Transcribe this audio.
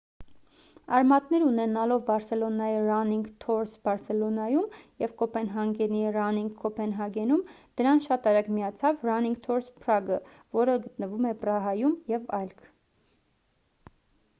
արմատներ ունենալով բարսելոնայի «running tours barcelona»-ում և կոպենհագենի «running copenhagen»-ում ` դրան շատ արագ միացավ «running tours prague:-ը որը գտնվում է պրահայում և այլք: